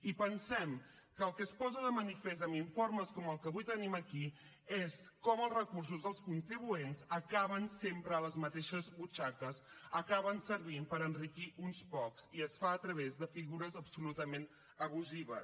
i pensem que el que es posa de manifest amb informes com el que avui tenim aquí és com els recursos dels contribuents acaben sempre a les mateixes butxaques acaben servint per enriquir uns pocs i es fa a través de de figures absolutament abusives